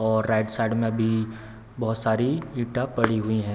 और right side मे भी बहुत सारी ईंटा पड़ी हुई है।